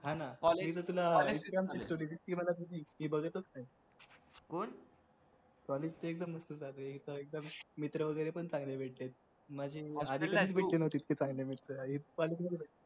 कोण college चे एक दोन मित्र वगैरे पण चांगले भेटले